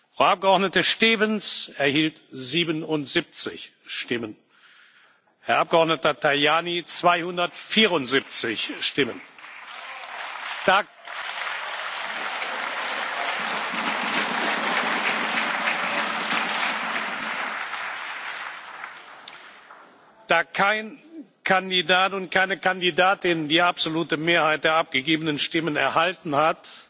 Frau Abgeordnete Stevens 77 Stimmen, Herrn Abgeordneten Tajani 274 Stimmen. Da kein Kandidat und keine Kandidatin die absolute Mehrheit der abgegebenen Stimmen erhalten hat,